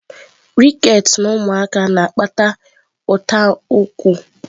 Rickets na ụmụaka na-akpata ụta ụkwụ.